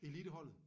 Eliteholdet?